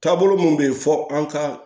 Taabolo mun bɛ yen fɔ an ka